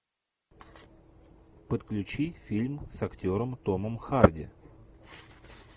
подключи фильм с актером томом харди